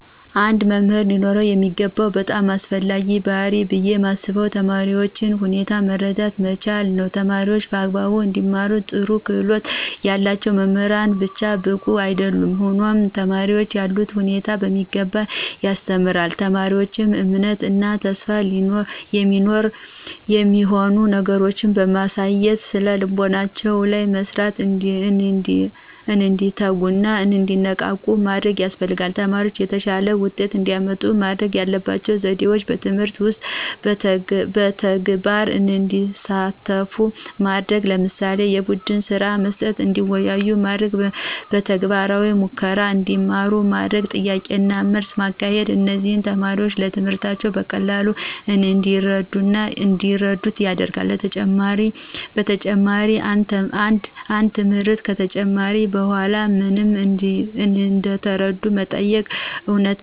አንድ መምህር ሊኖረው የሚገባው በጣም አስፈላጊው ባህሪይ ብየ ማስበው የተማሪዎችን ሁኔታ መረዳት መቻል ነዉ። ተማሪዎች በአግባቡ እንዲማሩ ጥሩ ክህሎት ያለው መምህር ብቻ በቂ አይደለም ሆኖም ተማሪዎችን ያሉበትን ሁኔታ በሚገባ የሚያስተውል፣ ለተማሪዎች እምነት እና ተስፋ የሚሆኑ ነገሮችን በማሳየት ስነልቦናቸው ላይ በመስራት እንዲተጉና እንዲነቃቁ ማድረግ ያስፈልጋል። ተማሪዎች የተሻለ ውጤት እንዲያመጡ ማድረግ ያለባቸው ዘዴዎች በትምህርት ውስጥ በተግባር እንዲሳተፉ ማድረግ ለምሳሌ፦ የቡድንስራ መስጠት፣ እንዲወያዩ ማድረግ፣ በተግባራዊ ሙከራ እንዲማሩ ማድረግ፣ ጥያቄና መልስ ማካሄድ እነዚህም ተማሪዎች ትምህርትን በቀላሉ እንዲረዱት ያደርጋል። በተጨማሪም አንድ ትምህርት ከተጨረሰ በኃላ ምን እንደተረዱ መጠየቅ፣ እውነተኛ ምሳሌዎችን በማንሳት ማስረዳት እና መልስ በሚመልሱበት ጊዜ ሞራል መስጠት።